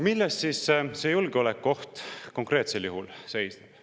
Milles siis see julgeolekuoht konkreetsel juhul seisneb?